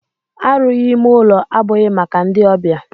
Arụghi ime ụlọ abụghị maka ndị ọbịa.